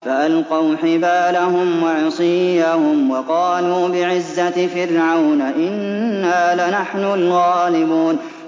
فَأَلْقَوْا حِبَالَهُمْ وَعِصِيَّهُمْ وَقَالُوا بِعِزَّةِ فِرْعَوْنَ إِنَّا لَنَحْنُ الْغَالِبُونَ